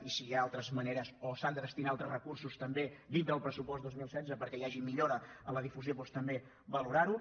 i si hi ha altres maneres o s’hi han de destinar altres recursos també dintre del pressupost dos mil setze perquè hi hagi millora en la difusió doncs també valorar ho